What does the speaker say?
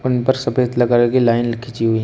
उन पर सफेद ल कलर की लाइन खींची हुई हैं।